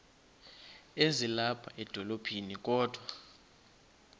ezilapha edolophini kodwa